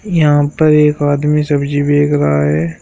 यहां पर एक आदमी सब्जी बेच रहा है।